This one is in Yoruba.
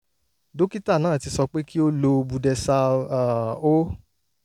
dókítà náà ti sọ pé kí ó lo budesal um 0